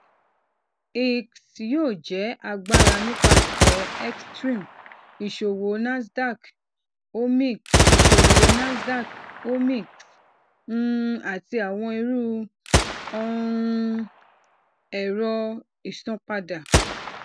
eax yoo jẹ agbara nipasẹ xstream iṣowo nasdaq omx iṣowo nasdaq omx um ati awọn iru um ẹrọ isanpada